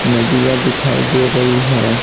नदियां दिखाई दे रही है।